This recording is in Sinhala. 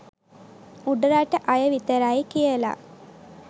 උඩරට අය විතරයි කියලා.